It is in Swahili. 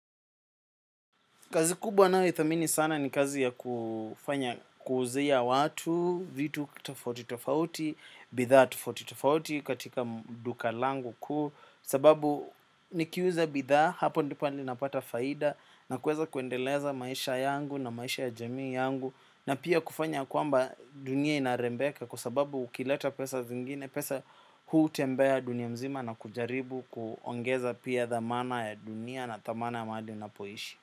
Kazi kubwa ninayoithamini sana ni kazi ya kufanya kuzuia watu, vitu kutafoti tofauti, bidhaa tofauti tofauti katika duka langu kuu, sababu nikiuza bidhaa hapo ndipo yani napata faida na kuweza kuendeleza maisha yangu na maisha ya jamii yangu na pia kufanya ya kwamba dunia inarembeka kwa sababu ukileta pesa zingine, pesa hutembea dunia nzima na kujaribu kuongeza pia dhamana ya dunia na thamana ya mahali unapoishi.